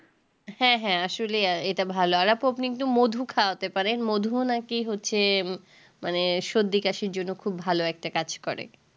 হ্যাঁ হ্যাঁ আসলে আ এটা ভালো আর আপু আপনি মধু খাওয়াতে পারেন মধুও না কি হচ্ছে মানে সর্দি কাশির জন্যে খুব ভালো একটা কাজ করে